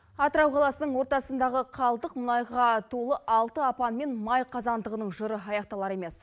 атырау қаласының ортасындағы қалдық мұнайға толы алты апан мен май қазандығының жыры аяқталар емес